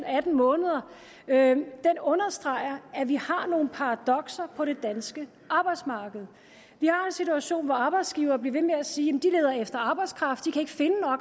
atten måneder understreger at vi har nogle paradokser på det danske arbejdsmarked vi har en situation hvor arbejdsgivere bliver ved med at sige at de leder efter arbejdskraft